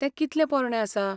तें कितलें पोरणें आसा?